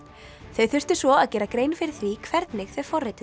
þau þurftu svo að gera grein fyrir því hvernig þau